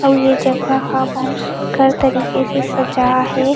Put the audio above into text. अउ ये जगह ह बहुत सुघ्घर तरीके से सजा हे।